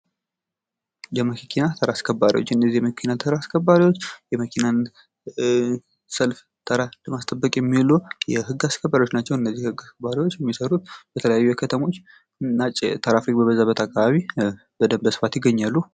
የመኪና ተራ አስከባሪዎች እነዚህ የመኪና ተራስከባሪዎች የመኪናን ሰልፍ ተራ ለማስጠበቅ የሚውሉ የህግ አስከባሪዎች ናቸው። እነዚህ የህግ ባለሙያዎች የሚሰሩት በተለያዩ ከተሞች ትራፊክ በበዛበት አካባቢ በስፋት ይገኛሉ።